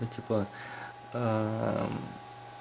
ну типа